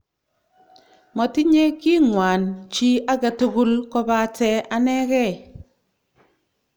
Matinyee king'waan chi age tugul kobate anegee